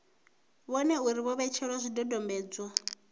vhone uri vho etshedza zwidodombedzwa